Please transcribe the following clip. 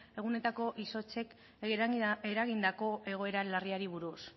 egunetako izotzek eragindako egoera larriari buruz